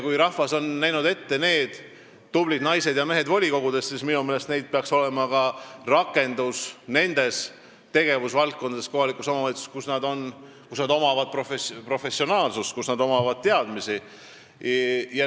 Kui rahvas on näinud ette need tublid naised ja mehed volikogudesse, siis minu meelest peaks neil olema ka rakendus kohaliku omavalitsuse nendes tegevusvaldkondades, kus neil on professionaalsus ja teadmised.